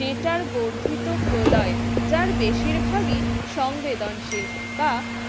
data র বর্ধিত প্রলয় যার বেশিরভাগই সংবেদনশীল বা